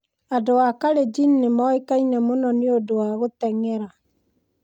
Andũ a Kalenjin nĩ moĩkaine mũno nĩ ũndũ wa gũteng'era.